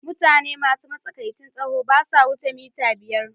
Mutane masu matsakaicin tsawo ba sa wuce mita biyar.